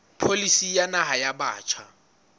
pholisi ya naha ya batjha